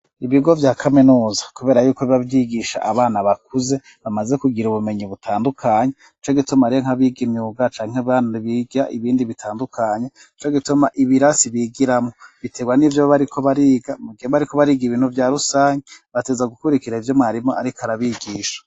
Ibigo bya kaminuza kubera yuko bibabyigisha abana bakuze bamaze kugira ubumenyi butandukanye co gituma ari nkabiga imyuga canke bana biga ibindi bitandukanye co gituma ibirasi bigiramo bitegwa n'ibyo bariko bariga mgihe bariko bariga ibintu bya rusange bateza gukurikira ibyo marimo ariko arabigisha.